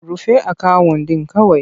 Rufe akawun ɗin kawai!